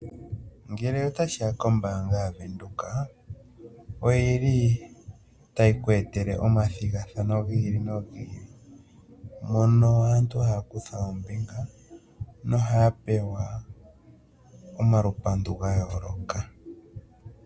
Ngele tashiya koombanga ya venduka, oyili tayi ku etele omathigathano giili no gili, moka aantu haya kutha oombinga, no haya pewa omalupandu ga yooloka.